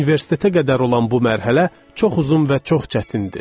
Universitetə qədər olan bu mərhələ çox uzun və çox çətindir.